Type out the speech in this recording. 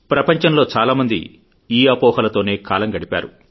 ప్రపంచంలో చాలా మంది ఈ అపోహలతోనే కాలం గడిపారు